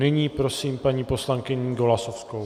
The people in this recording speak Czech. Nyní prosím paní poslankyni Golasowskou.